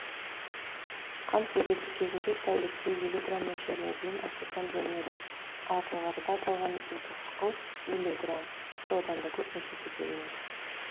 қант диабеті кезінде тәулікте елу грамм мөлшеріне дейін ацетон бөлінеді ал жоғарыда аталған екі қышқыл елу грамм тіпті одан да көп мөлшерде бөлінеді